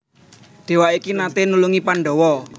Déwa iki naté nulungi Pandhawa